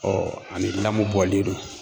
ani lamu bɔlen do.